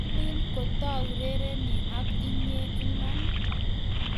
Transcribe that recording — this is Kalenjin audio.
Kwelin kotaurereni ak inyee iman?